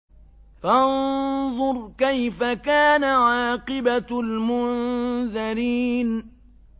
فَانظُرْ كَيْفَ كَانَ عَاقِبَةُ الْمُنذَرِينَ